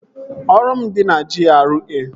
Ọrụ m dị na GRA